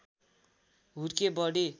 हुर्के बढे